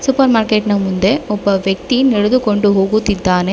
Super market ನ ಮುಂದೆ ಒಬ್ಬ ವ್ಯಕ್ತಿ ನಡೆದುಕೊಂಡು ಹೋಗುತ್ತಿದ್ದಾನೆ.